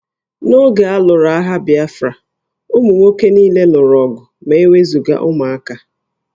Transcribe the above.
N'oge a lụrụ agha Bịafra, ụmụ nwoke niile lụrụ ọgụ ma e wezụga ụmụaka